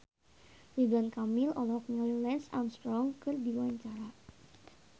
Ridwan Kamil olohok ningali Lance Armstrong keur diwawancara